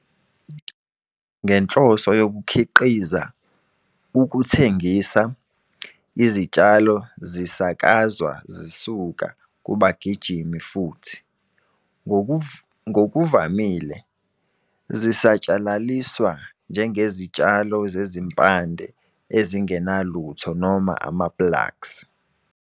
Ngenhloso yokukhiqiza ukuthengisa, izitshalo zisakazwa zisuka kubagijimi futhi, ngokuvamile, zisatshalaliswa njengezitshalo zezimpande ezingenalutho noma ama-plugs.